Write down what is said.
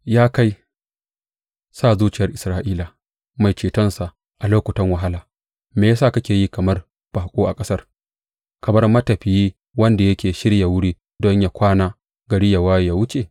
Ya kai, Sa Zuciyar Isra’ila, Mai Cetonsa a lokutan wahala, me ya sa kake yi kamar baƙo a ƙasar, kamar matafiyi wanda yake shirya wuri don yă kwana gari ya waye ya wuce?